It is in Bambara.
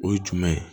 O ye jumɛn ye